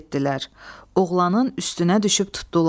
Oğlanın üstünə düşüb tutdular.